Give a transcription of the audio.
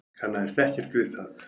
Kannaðist ekkert við það.